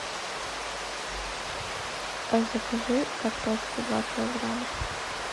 закажи картошку два килограмма